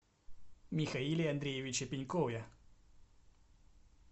михаиле андреевиче пенькове